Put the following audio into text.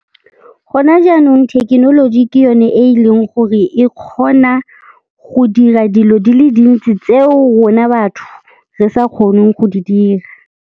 Go na jaanong thekenoloji ke yone e e leng gore e kgona go dira dilo di le dintsi tseo rona batho re sa kgoneng go di dira.